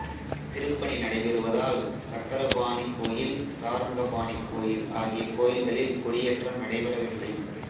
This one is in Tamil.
திருப்பணி நடைபெறுவதால் சக்கரபாணி கோயில் சார்ங்கபாணி கோயில் ஆகிய கோயில்களில் கொடியேற்றம் நடைபெறவில்லை